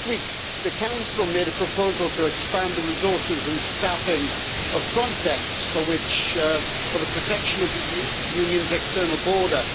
Last week, the Council made a proposal to expand the resources and staffing of Frontex for the protection of the Union's external border.